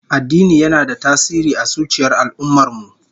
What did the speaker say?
Addini yana da tasiri a zuciyar al'ummar mu